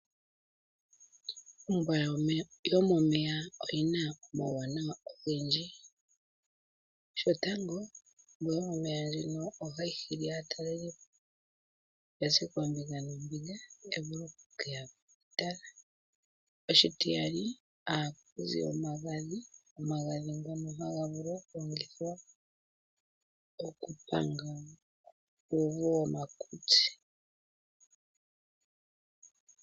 Ombwa yomomeya oyina uuwanawa owundji shotango ohayi hili aatalelipo okuza koombinga noombinga taye ya okutala, oshitiyali ohaku zi omagadhi ngono haga vulu okulongithwa okupanga uuvu womakutsi.